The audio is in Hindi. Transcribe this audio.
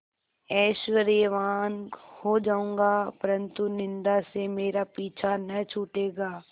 ऐश्वर्यवान् हो जाऊँगा परन्तु निन्दा से मेरा पीछा न छूटेगा